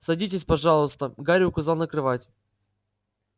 садитесь пожалуйста гарри указал на кровать